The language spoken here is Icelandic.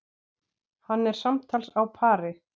Hann er samtals á pari.